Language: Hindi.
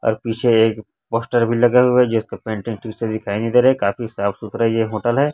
और पीछे एक पोस्टर भी लगा हुआ है जिसका पेंटिंग ठीक से दिखाई नहीं दे रहा है काफी साफ सुथरा ये होटल है।